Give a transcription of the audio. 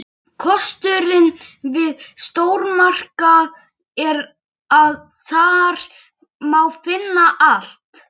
Einna lögulegust verða eldvörp sem myndast í kraftlitlum gosum.